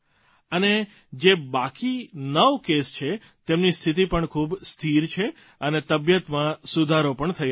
અને જે હજી બાકી નવ કેસ છે તેમની સ્થિતિ પણ ખૂબ સ્થિર છે અને તબિયતમાં સુધારો પણ થઇ રહ્યો છે